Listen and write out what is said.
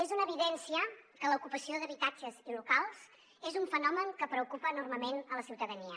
és una evidència que l’ocupació d’habitatges i locals és un fenomen que preocupa enormement la ciutadania